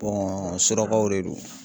surakaw de don.